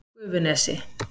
Gufunesi